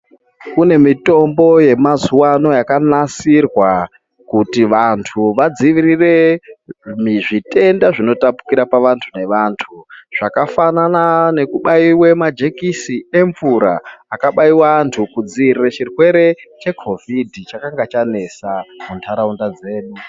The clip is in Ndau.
Kune mitombo yamazuva ano yakanasirwa kuti vantu vadzivirire zvitenda zvinotapukira pavantu nevantu. Zvakafanana nekubaive majekisi emvura akabaiwe antu kudzivirire chirwe chekovidi chakanga chanesa muntaraunda dzedu.